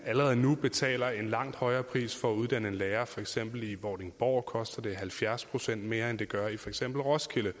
allerede nu betaler en langt højere pris for at uddanne en lærer for eksempel i vordingborg hvor det koster halvfjerds procent mere end det gør i for eksempel roskilde